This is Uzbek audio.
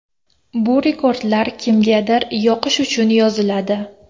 Bu rekordlar kimgadir yoqish uchun yoziladi.